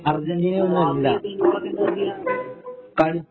ഈ ബാക്കി ഉള്ള ടീമുകള് ഒക്കെ എന്താ ചെയ്യാ